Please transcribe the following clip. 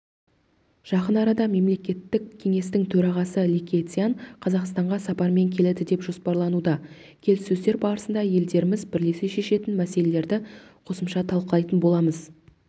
жақын арада мемлекеттік кеңестің төрағасы ли кэцян қазақстанға сапармен келеді деп жоспарлануда келіссөздер барысында елдеріміз бірлесе шешетін мәселелерді қосымша талқылайтын боламыз